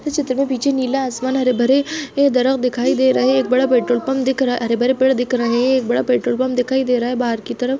इस चित्र मे पीछे नीला आसमान हरे भरे ये दिखाई दे रहा है एक बड़ा पेट्रोल पम्प दिख रहा है हरे-भरे पेड़ दिख रहे है एक बड़ा पेट्रोल पम्प दिखाई दे रहा है बाहर की तरफ--